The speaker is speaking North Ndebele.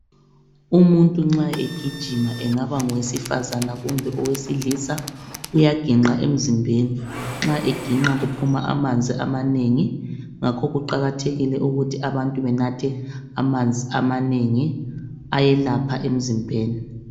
Umuntu nxa egijima engaba ngowesifazana kume owesilisa uyaginqa emzimbeni nxa eginqa kuphuma amanzi amanengi. Ngakho kuqakathekile ukuthi banathe amanzi amanengi, ayelapha enziimbeni.